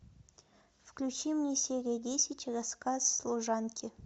включи мне серию десять рассказ служанки